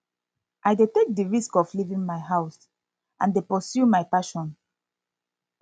i dey take di risk of leaving my house and dey pursue my passion